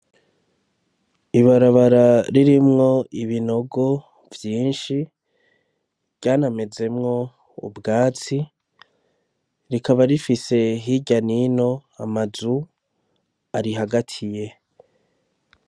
Ibarabara ririmwo ibinogo vyinshi ryanamezemwo ubwatsi, rikaba rifise hirya nino amazu arihagatiye.